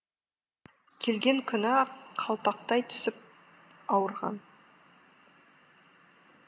келген күні ақ қалпақтай түсіп ауырған